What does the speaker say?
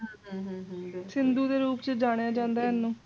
ਸਿੰਧੂ ਦੇ ਰੂਪ ਚ ਜਾਣਿਆ ਜੰਦਾ ਹੈ ਇਨੂ